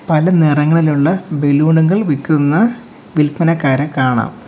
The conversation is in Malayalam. പല നിറങ്ങളിലുള്ള ബലൂൺ കൾ വിക്കുന്ന വിൽപനക്കാരെ കാണാം.